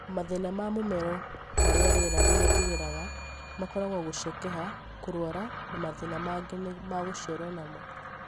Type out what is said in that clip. Mathĩna na mũmero harĩa rĩera rĩgeraga makoragwo gũcekeha, kũrũara na mathĩna mangĩ ma gũciaro namo.